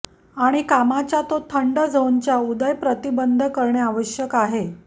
आणि कामाच्या तो थंड झोन च्या उदय प्रतिबंध करणे आवश्यक आहे